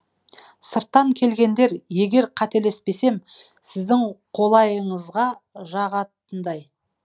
сырттан келгендер егер қателеспесем сіздің қолайыңызға жағатындай